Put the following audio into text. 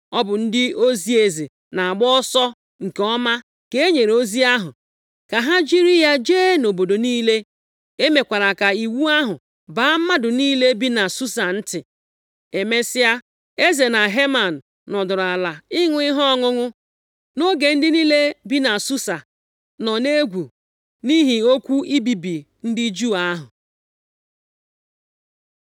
Ọ bụ ndị ozi eze na-agba ọsọ nke ọma ka e nyere ozi ahụ, ka ha jiri ya jee nʼobodo niile. E mekwara ka iwu ahụ baa mmadụ niile bi na Susa ntị. Emesịa, eze na Heman nọdụrụ ala ịṅụ ihe ọṅụṅụ nʼoge ndị niile bi na Susa nọ nʼegwu nʼihi okwu ibibi ndị Juu ahụ.